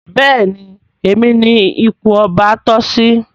Béèni Èmi ní ipò ọba toh sí.